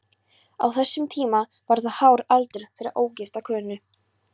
Á þessum tíma var það hár aldur fyrir ógifta konu.